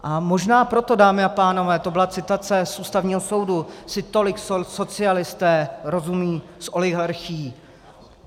A možná proto, dámy a pánové - to byla citace z Ústavního soudu - si tolik socialisté rozumí s oligarchií.